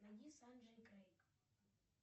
найди санджей и крейг